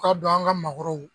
k'a dɔn an ka maakɔrɔw